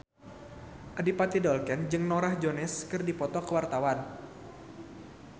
Adipati Dolken jeung Norah Jones keur dipoto ku wartawan